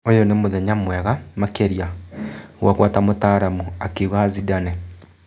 " ũyũ nĩ mũthenya mwega makĩria ngwakwa ta mũtaaramu", akiuga Zindane.